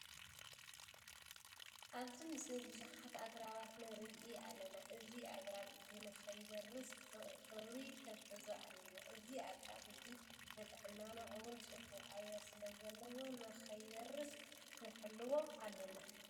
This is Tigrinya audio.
ኣብዚ ምስሊ ቡዙሓት ኣግራባት ንርኢ ኣለና። እዚ ኣግራብ እዚ ንከይበርስ ብክብሪ ክንሕዞ ኣለና። እዚ ኣግራብ እዚ ንጥዕንና እውን ፅቡቅ ኣየር ስለ ዘለዎ ነክይበርስ ክንሕልዎ ኣለና።